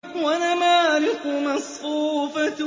وَنَمَارِقُ مَصْفُوفَةٌ